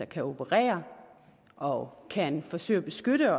kan operere og kan forsøge at beskytte